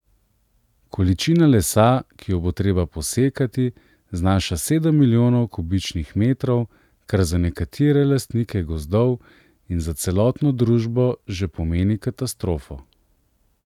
Količina lesa, ki jo bo treba posekati, znaša sedem milijonov kubičnih metrov, kar za nekatere lastnike gozdov in za celotno družbo že pomeni katastrofo.